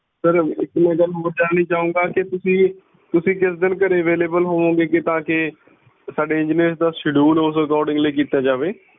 sir ਇੱਕ ਮੈਂ ਗੱਲ ਹੋਰ ਜਾਣਨੀ ਚਾਹੁੰਗਾ ਕਿ ਤੁਸੀਂ ਕਿਸ ਦਿਨ ਘਰੇ available ਹੋਵੋਗੇ ਕੇ ਤਾਂ ਕੇ ਸਾਡੇ engineers ਦਾ schedule ਓਸ accordingly ਕੀਤਾ ਜਾਵੇ।